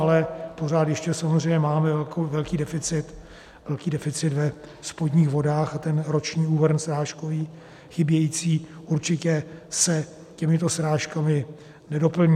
Ale pořád ještě samozřejmě máme velký deficit ve spodních vodách a ten roční úhrn srážkový chybějící určitě se těmito srážkami nedoplní.